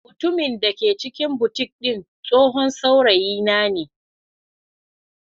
Mutumin da ke cikin boutique din tsohon saurayina ne.